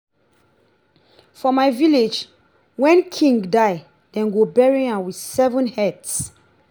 for my village wen king die dey go bury am with seven heads